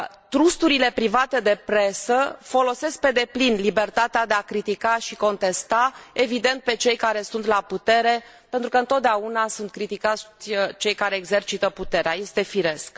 Trusturile private de presă folosesc pe deplin libertatea de a critica și contesta, evident pe cei care sunt la putere pentru că întotdeauna sunt criticați cei care exercită puterea, este firesc.